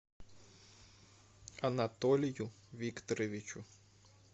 анатолию викторовичу